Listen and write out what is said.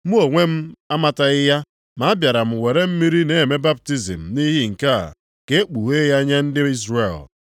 Mụ onwe m amataghị ya, ma a bịara m were mmiri na-eme baptizim nʼihi nke a, ka e kpughee ya nye ndị Izrel.”